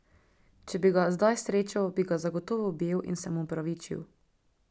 Če bi ga zdaj srečal, bi ga zagotovo objel in se mu opravičil.